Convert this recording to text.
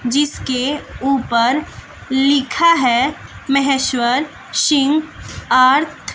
जिसके ऊपर लिखा है महेश्वर सिंह एर्थ --